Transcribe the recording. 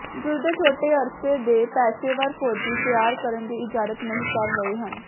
ਜੁੱਧ ਦੇ ਛੋਟੇ ਅਰਸੇ ਦੇ ਪੇਸ਼ੇਵਰ ਫੌਜੀ ਤਿਆਰ ਕਰਨ ਦੀ ਇਜਾਜ਼ਤ ਨਹੀ ਕਰ ਰਹੇ ਹਨ